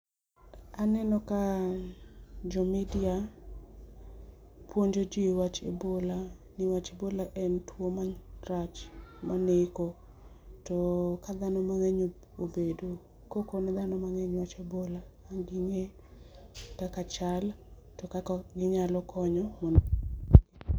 Aneno ka jo media puonjo jii e wach buola niwach buola en tuwo marach maneko to ka dhano mang'eny obedo, kapo ni dhano mang'eny oyudo buola to ging'e kaka chal to gi kaka ok ginyal konyo.